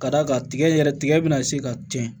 Ka d'a kan tigɛ yɛrɛ tigɛ bɛna se ka tɛn